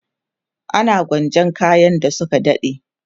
ana gwanjan kayan da Suka dade